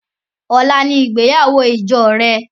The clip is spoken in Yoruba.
Ọla ni ìgbéyàwó ìjọ rẹ